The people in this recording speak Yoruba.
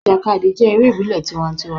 Ìjàkadì jé eré ìbílè tiwantiwan